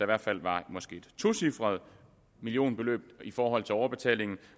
hvert fald var et tocifret millionbeløb i forhold til overbetalingen